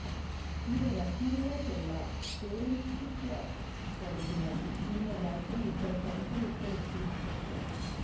ఈవిడ రచనలలో కెల్లా పేరెన్నికగలిగినవి ఈమె వ్రాసిన ఇద్దరు ప్రముఖ వ్యక్తుల జీవిత చరిత్రలు